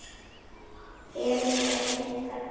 Elín, er reimt þarna?